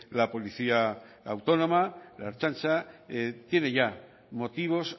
la policía autónoma la ertzaintza tiene ya motivos